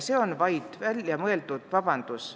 See on vaid väljamõeldud vabandus.